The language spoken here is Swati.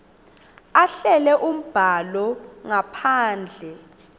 ahlele umbhalo ngaphandle